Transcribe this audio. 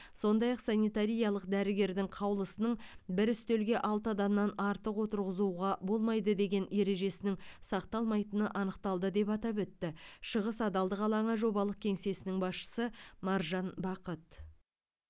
сондай ақ санитариялық дәрігердің қаулысының бір үстелге алты адамнан артық отырғызуға болмайды деген ережесінің сақталмайтыны анықталды деп атап өтті шығыс адалдық алаңы жобалық кеңсесінің басшысы маржан бақыт